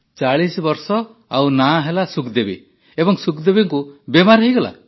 ୪୦ ବର୍ଷ ଆଉ ସୁଖଦେବୀ ନାମ ଏବଂ ସୁଖଦେବୀଙ୍କୁ ବେମାର ହୋଇଗଲା